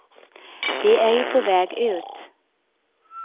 De är ju på väg ut.